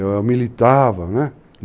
Eu militava, né?